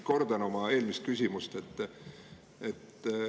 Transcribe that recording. Kordan oma eelmist küsimust.